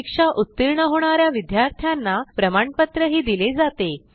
परीक्षा उत्तीर्ण होणा या विद्यार्थ्यांना प्रमाणपत्रही दिले जाते